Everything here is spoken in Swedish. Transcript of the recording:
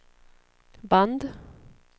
band